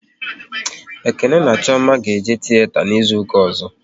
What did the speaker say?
Ekene na Chioma ga-eje tiyeta n'izuka ọzọ